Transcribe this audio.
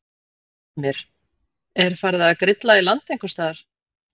Heimir: Farið að grilla í land einhvers staðar?